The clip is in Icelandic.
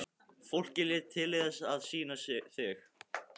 Fólkið lét tilleiðast að sýna þig.